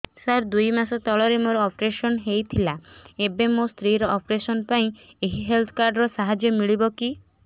ସାର ଦୁଇ ମାସ ତଳରେ ମୋର ଅପେରସନ ହୈ ଥିଲା ଏବେ ମୋ ସ୍ତ୍ରୀ ର ଅପେରସନ ପାଇଁ ଏହି ହେଲ୍ଥ କାର୍ଡ ର ସାହାଯ୍ୟ ମିଳିବ କି